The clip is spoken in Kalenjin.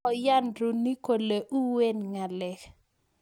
Kokoyan roony kolee uuwen ngalek